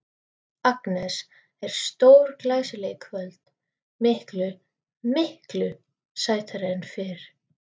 Agnes er stórglæsileg í kvöld, miklu, miklu sætari en fyrr.